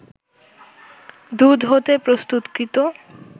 দুধ হতে প্রস্তুতকৃত